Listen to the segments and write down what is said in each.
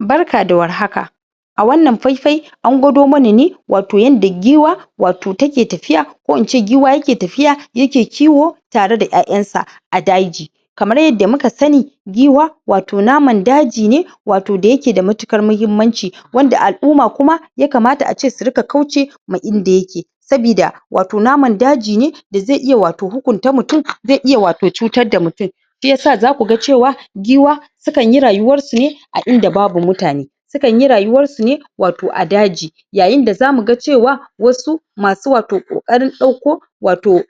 Barka da warhaka a wannan faifayi an gwado mana ne watau yanda giwa watau take tafiya ko in ce giwa yake tafiya yake kiwo tare da ƴaƴansa a daji kamar yadda muka sani giwa watau naman daji ne watau da yake da matukar mahimmanci wanda al'umma kuma ya kamata ace su riƙa wauce ma idan yake sabida watau naman daji ne da zai iya watau hukunta mutum zai iya watau cutar da mutum shiyasa zaku ga cewa giwa sukan yi rayuwarsu ne a inda babu mutane Sukan yi rayuwansu ne watau a daji yayin da zamu ga cewa wasu masu watau ƙoƙarin ɗauko watau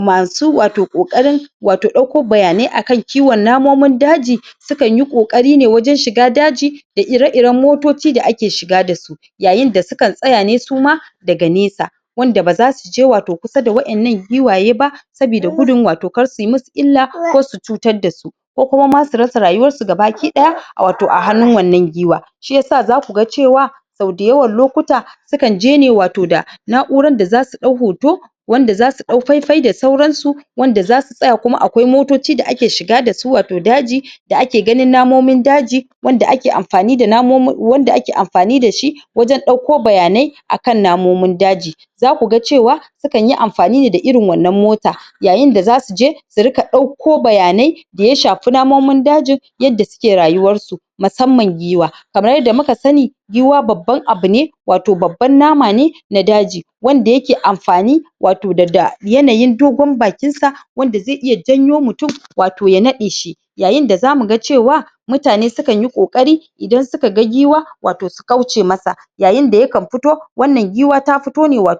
masu watau ƙoƙarin watau ɗauko bayanai akan kiwon lafiyan namomin daji sukan yi ƙoƙari ne wajen shiga daji da ire-iren motoci da ake shiga da su yayin da sukan tsaya ne suma daga nesa wanda baza su je watau kusa da wa'innan giwaye ba sabida gudun watau kar su yi musu illa ko su cutar da su ko kuma su rasa rayuwan su ga baki ɗaya watau a hannun wannan giwa shiyasa zaku ga cewa sau dayawan lokuta sukan je ne da watau da na'uran da zasu ɗau hoto wanda zasu ɗau faifayi da sauran su wanda zasu tsaya kuma akwai motoci da ake shiga da su watau daji da ake ganin namomin daji wanda ake amfani da namomin wanda ake amfani da shi wajen ɗauko bayanai akan namomin daji\ zaku ga cewa sukan yi amfani da irin wannan mota yayin da zasu je su riƙa ɗauko bayanai da ya shafi namomin daji yadda suke rayuwarsu musamman giwa kamar yadda muka sani yiwuwa babban abu ne to babban nama ne na daji Wanda yake amfani watau da yanayin dogon bakin sa wanda zai iya janyo mutum watau ta naɗe shi yayin da zamu ga cewa mutane sukan yi ƙoƙari idan suka ga giwa watau su kauce masa yayin da yakan fito wannan giwa ta fito ne da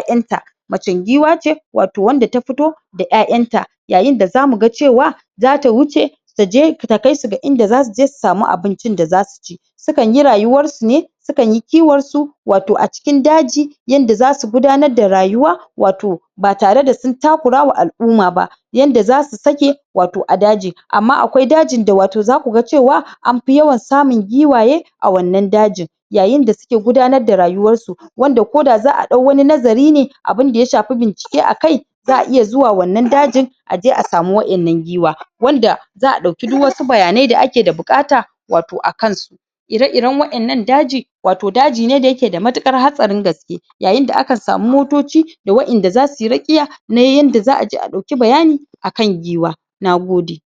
ƴaƴanta macen giwa ce watau wanda ta fito da ƴaƴanta yayin da za mu ga cewa za ta wuce taje ta kai su ga inda zasu je su samu abincin da zasu ci Sukan yi rayuwar su ne sukan yi kiwon su watau a cikin daji yanda zasu gudanar da rayuwa watau ba tare da sun takura wa al'umma ba yanda zasu sake watau a daji amma akwai dajin da watau zaku ga cewa an fi yawan samun giwaye a wannan dajin yayin da suke gudanar da rayuwarsu wanda ko da za a ɗau wani nazari ne abunda ya shafi bincike a kai za a iya zuwa wannan dajin a je a samu wa'innan giwa wanda za a ɗauki duk wasu bayanai da ake da buƙata watau a kansu ire-iren wa'innan daji watau daji ne da yake da matuƙar hatsarin gasake yayin da aka samu motoci da wa'inda zasu yi rakiya ne yadda za a je a ɗauki bayani a kan giwa. Nagode.